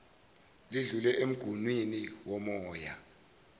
lidlule emguwnini womoya